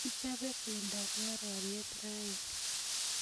kichope pendoab ngororiet rain